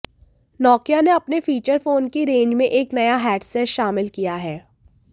Nokia ने अपने feature phone की रेंज में एक नया हैंडसेट शामिल किया है